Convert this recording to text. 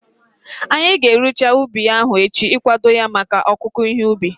Anyị ga-erucha ubi ahu echi ikwado ya maka ọkụku ihe ubi